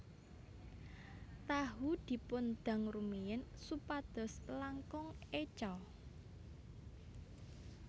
Tahu dipun dang rumiyin supados langkung éco